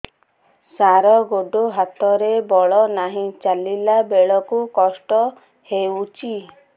ସାର ଗୋଡୋ ହାତରେ ବଳ ନାହିଁ ଚାଲିଲା ବେଳକୁ କଷ୍ଟ ହେଉଛି